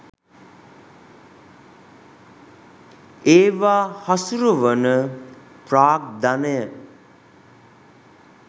ඒවා හසුරුවන ප්‍රාග්ධනය